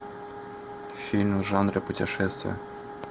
фильм в жанре путешествия